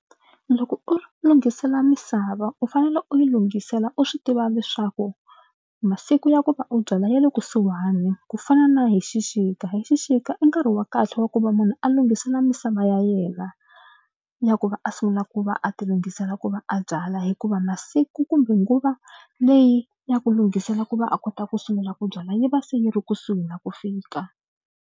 Loko u lunghisela misava u fanele u yi lunghisela u swi tiva leswaku masiku ya ku va u byala ya le kusuhani ku fana na hi xixika. Hi xixika i nkarhi wa kahle wa ku va munhu a lunghisela misava ya yena ya ku va a sungula ku va a tilunghisela ku va a byala hikuva masiku kumbe nguva leyi ya ku lunghisela ku va a kota ku sungula ku byala yi va se yi ri kusuhi na ku fika.